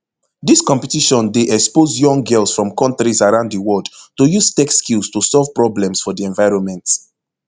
dis competition dey expose young girls from kontris around di world to use tech skills to solve problems for di environment